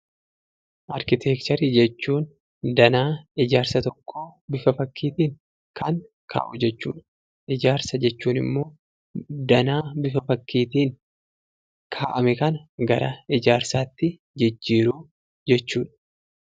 Arkiteekcharii jechuun danaa ijaarsa tokkoo bifa fakkiitin kan ka'u jechuudha. Ijaarsa jechuun ammoo danaa bifa fakkiitin ka'ame kana gara ijaarsaatti jijjjiiruu jechuudha.